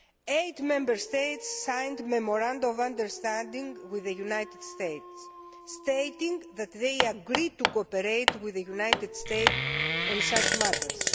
Eight Member States signed Memoranda of Understanding with the United States stating that they agreed to cooperate with the United States on such matters.